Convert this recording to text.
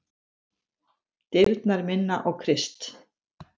Dyrnar minna á Krist.